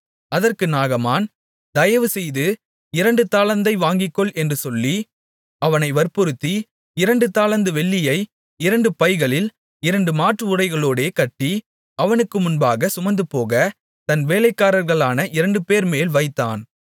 அதற்கு நாகமான் தயவுசெய்து இரண்டு தாலந்தை வாங்கிக்கொள் என்று சொல்லி அவனை வற்புறுத்தி இரண்டு தாலந்து வெள்ளியை இரண்டு பைகளில் இரண்டு மாற்றுஉடைகளோடே கட்டி அவனுக்கு முன்பாகச் சுமந்துபோக தன் வேலைக்காரர்களான இரண்டுபேர்மேல் வைத்தான்